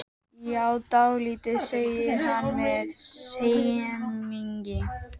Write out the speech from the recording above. Ekkert var meira eitur í hans beinum en nýnæmið.